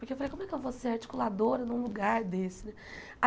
Porque eu falei, como é que eu vou ser articuladora num lugar desse?